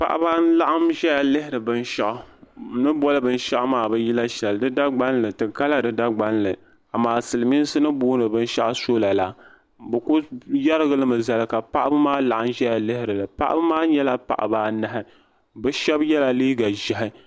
Paɣaba n laɣim ʒɛya lihiri bin shaɣu ni boli bin shaɣu maa ti ka di dagbanli silmiinsi ni boli bin shaɣu sola la bi ku yarigi li mi zali ka paɣaba maa laɣim ʒɛya lihiri paɣaba maa nyɛla paɣaba anahi bi shaba yɛla liiga ʒiɛhi.